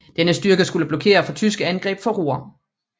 Denne styrke skulle blokere for tyske angreb fra Ruhr